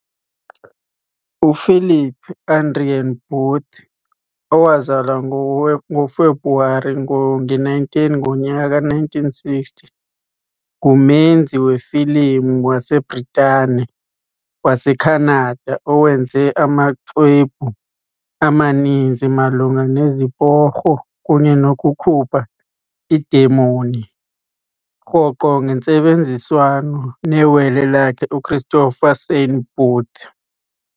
uPhilip Adrian Booth, owazalwa ngoFebruwari 19, 1960, ngumenzi wefilimu waseBritane-waseKhanada owenze amaxwebhu amaninzi malunga neziporho kunye nokukhupha iidemon, rhoqo ngentsebenziswano newele lakhe, uChristopher Saint Booth.